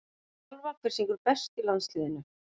þjálfa Hver syngur best í landsliðinu?